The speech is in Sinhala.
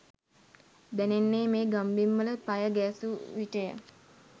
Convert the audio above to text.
දැනෙන්නේ මේ ගම්බිම්වල පය ගැසූ විටය.